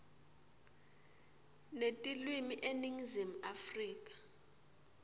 netilwimi eningizimu afrika